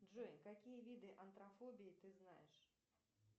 джой какие виды антрофобии ты знаешь